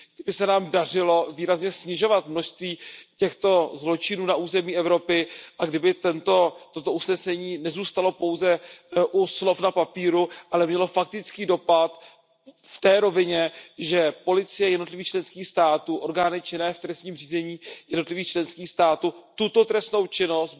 Kdyby se nám dařilo výrazně snižovat množství těchto zločinů na území Evropy a kdyby toto usnesení nezůstalo pouze u slov na papíru, ale mělo faktický dopad v té rovině, že policie jednotlivých členských států, orgány činné v trestním řízení jednotlivých členských států tuto trestnou činnost